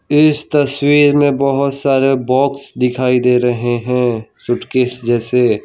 इस तस्वीर में बहुत सारे बॉक्स दिखाई दे रहे हैं सूटकेस जैसे।